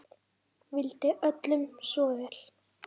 Vildi öllum svo vel.